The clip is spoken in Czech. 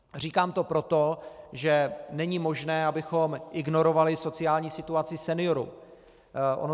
Říkám to proto, že není možné, abychom ignorovali sociální situaci seniorů.